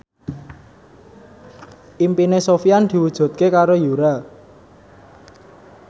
impine Sofyan diwujudke karo Yura